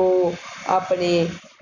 ਉਹ ਆਪਣੇ